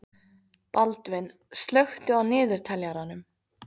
Baldvin, slökktu á niðurteljaranum.